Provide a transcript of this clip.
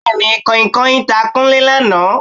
Bẹ́ẹ̀ni, Kanhinkanhin ta Kúnlé lánàá